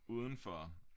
Udenfor